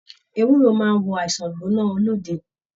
Ewúro máà n wo àìsàn igbona olóde.